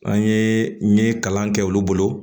An ye min kalan kɛ olu bolo